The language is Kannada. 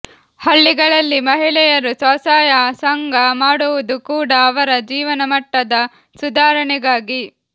ಹಳ್ಳಿಗಳಲ್ಲಿ ಮಹಿಳೆಯರು ಸ್ವಸಹಾಯ ಸಂಘ ಮಾಡುವುದು ಕೂಡ ಅವರ ಜೀವನಮಟ್ಟದ ಸುಧಾರಣೆಗಾಗಿ